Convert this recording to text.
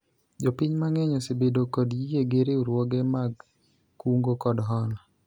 jopiny mang'eny osebedo kod yie gi riwruoge mag kungo kod hola